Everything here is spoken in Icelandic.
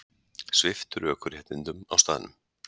Sviptur ökuréttindum á staðnum